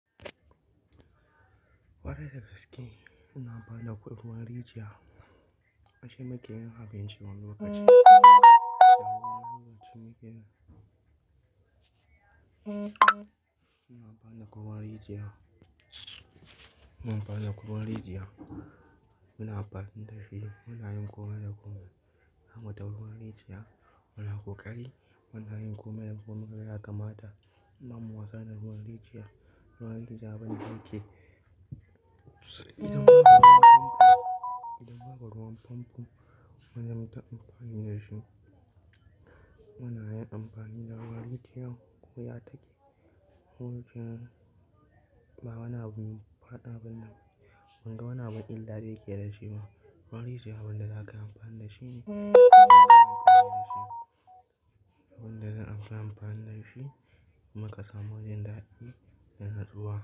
Kwarai da gaske, muna amfani da ruwan rijiya, dashi muke abinci wani lokaci. Muna amfani ruwan rijiya, muna bani kwaguwan rijiya, muna ba sandafi, munayin kowa da goma, kamata ruwan rijiya, muna ƙoƙari munayin goma da goma gaya kamata, mamu wasa da ruwan rijiya, ruwan rijiya abin da yake, idan ba ruwan famfo, idan ba ruwan famfo wajen mu ta amfani da shi. Munayin amfani da ruwan rijiya, koya take, wurcin ba wana bin faɗa bane, ban ga wana bin illala yake da shi ba. Ruwan rijiya abin da za ka yi amfani da shi ne, abin da zan amfani da shi, abin da zan amfa amfani da shi, muka samu wajen daɗi da natsuwa.